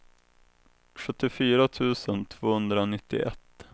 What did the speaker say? sjuttiofyra tusen tvåhundranittioett